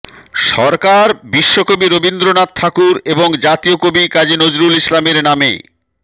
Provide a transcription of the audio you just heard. সরকার বিশ্বকবি রবীন্দ্রনাথ ঠাকুর এবং জাতীয় কবি কাজী নজরুল ইসলামের নামে